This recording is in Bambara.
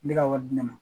Ne ka wari di ne ma